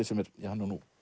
sem er